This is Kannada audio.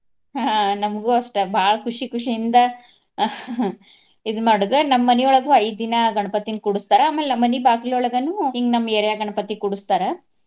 ಹಾ ನಮ್ಗು ಅಷ್ಟ ಬಾಳ್ ಖುಷಿ ಖುಷಿಯಿಂದ ಇದ್ ಮಾಡೋದ. ನಮ್ಮ್ ಮನಿಯೊಳಗ ಐದ್ ದಿನಾ ಗಣಪತಿನ್ ಕೂಡಸ್ತಾರ ಆಮೇಲೆ ನಮ್ಮ್ ಮನಿ ಬಾಗಿಲೋಳಗನು ಹಿಂಗ್ ನಮ್ಮ area ಗಣಪತಿ ಕೂಡಸ್ತಾರ.